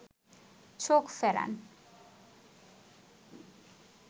চোখ ফেরান